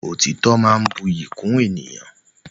Òtítọ́ máa ń buyì kún ẹni.